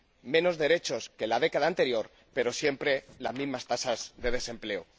menos derechos que en la década anterior, pero siempre las mismas tasas de desempleo.